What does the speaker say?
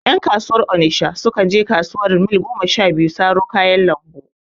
Ƴan kasuwar onisha su kan je kasuwar Mil goma sha biyu saro kayan lambu